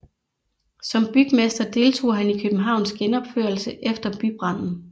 Som bygmester deltog han i Københavns genopførelse efter bybranden